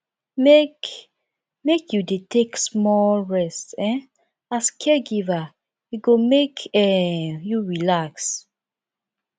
make make you dey take small rest um as caregiver e go make um you relax